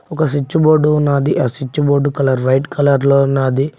ఒక switch board ఉన్నాది ఆ switch board colour white colour లో ఉన్నాది.